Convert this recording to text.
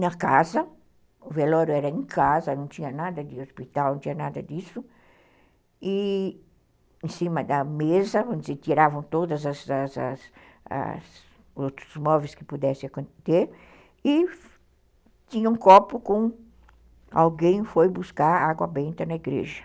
na casa, o velório era em casa, não tinha nada de hospital, não tinha nada disso, e em cima da mesa, onde se tiravam todos os outros móveis que pudessem ter, e tinha um copo com... alguém foi buscar água benta na igreja.